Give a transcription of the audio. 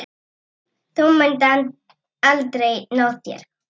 Þú munt aldrei ná þér.